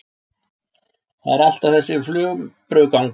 Það er alltaf þessi flumbrugangur.